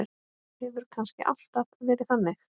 Hefur kannski alltaf verið þannig?